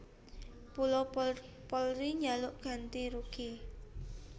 Mula Polri njaluk ganti rugi